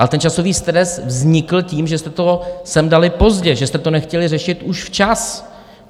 A ten časový stres vznikl tím, že jste to sem dali pozdě, že jste to nechtěli řešit už včas.